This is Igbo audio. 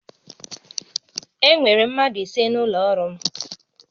Enwere mmadụ ise n'ụlọ ọrụ m